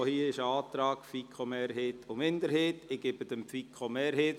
Auch hier gibt es einen Antrag der FiKoMehrheit und einen der FiKo-Minderheit.